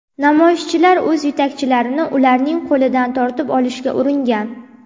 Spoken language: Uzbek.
Namoyishchilar o‘z yetakchilarini ularning qo‘lidan tortib olishga uringan.